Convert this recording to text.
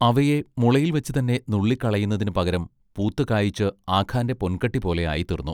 അവയെ മുളയിൽവച്ച് തന്നെ നുള്ളിക്കളയുന്നതിനു പകരം പൂത്ത് കായിച്ച് ആഖാന്റെ പൊൻകട്ടി പോലെ ആയിത്തീർന്നു.